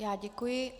Já děkuji.